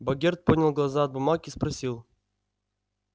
богерт поднял глаза от бумаг и спросил